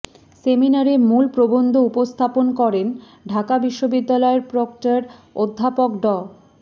সেমিনারে মূল প্রবন্ধ উপস্থাপন করেন ঢাকা বিশ্ববিদ্যালয়ের প্রক্টর অধ্যাপক ড